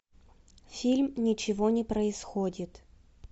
фильм ничего не происходит